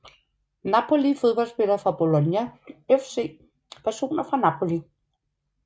Napoli Fodboldspillere fra Bologna FC Personer fra Napoli